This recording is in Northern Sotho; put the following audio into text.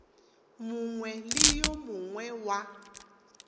mongwe le wo mongwe wa